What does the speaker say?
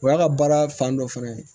O y'a ka baara fan dɔ fana ye